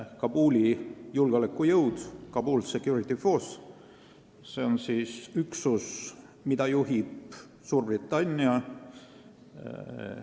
Kabuli julgeolekujõud, Kabul Security Force on üksus, mida juhib Suurbritannia.